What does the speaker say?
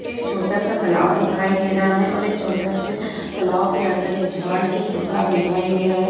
ये एक छोटा सा तालाब दिखाई दे रहा है और एक छोटा से तालाब के अंदर एक झाड़ जो सूखा दिखाई दे रहा है।